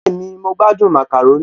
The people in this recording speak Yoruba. Bẹ́ẹ̀ni, mo gbádùn màkàrónì